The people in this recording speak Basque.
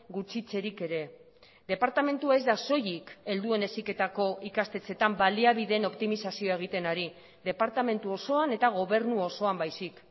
gutxitzerik ere departamentua ez da soilik helduen heziketako ikastetxeetan baliabideen optimizazioa egiten ari departamentu osoan eta gobernu osoan baizik